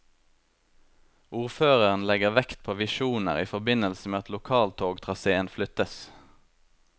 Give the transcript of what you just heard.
Ordføreren legger vekt på visjoner i forbindelse med at lokaltogtraséen flyttes.